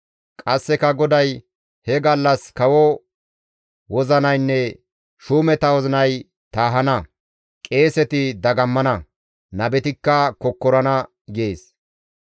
Qasseka GODAY, «He gallas kawo wozinaynne shuumeta wozinay taahana; qeeseti dagammana; nabetikka kokkorana» gees.